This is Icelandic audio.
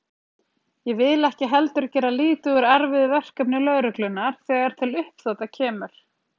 Ég vil ekki heldur gera lítið úr erfiðu verkefni lögreglunnar þegar til uppþota kemur.